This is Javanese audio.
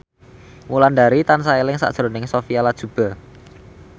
Wulandari tansah eling sakjroning Sophia Latjuba